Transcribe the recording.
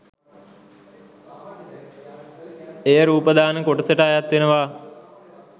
එය රූපදාන කොටසට අයත් වෙනවා.